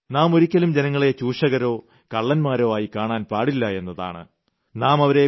അത് നാം ഒരിക്കലും ജനങ്ങളെ ചൂഷകരോ കള്ളന്മാരോ ആയി കാണാൻ പാടില്ലയെന്നതാണ്